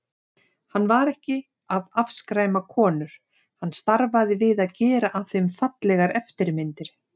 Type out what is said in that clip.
Hann var ekki að afskræma konur, hann starfaði við að gera af þeim fallegar eftirmyndir.